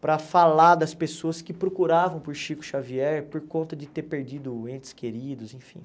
para falar das pessoas que procuravam por Chico Xavier por conta de ter perdido entes queridos, enfim.